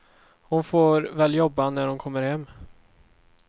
Hon får väl jobba när hon kommer hem.